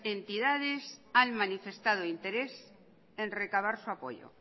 entidades han manifestado interés en recabar su apoyo